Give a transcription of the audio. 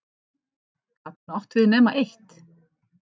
Gat hún átt við nema eitt?